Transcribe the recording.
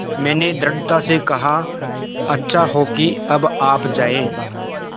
मैंने दृढ़ता से कहा अच्छा हो कि अब आप जाएँ